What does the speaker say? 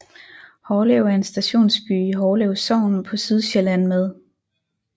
Hårlev er en stationsby i Hårlev Sogn på Sydsjælland med